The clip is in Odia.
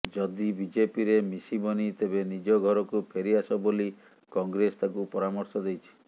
ଯଦି ବିଜେପିରେ ମିଶିବନି ତେବେ ନିଜ ଘରକୁ ଫେରିଆସ ବୋଲି କଂଗ୍ରେସ ତାଙ୍କୁ ପରାମର୍ଶ ଦେଇଛି